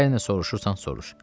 Hər nə soruşursan, soruş.